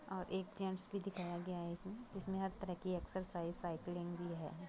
और एक जेंट्स भी दिखाया गया है। इसमें हर तरह के एक्सरसाइज साइकलिंग भी है।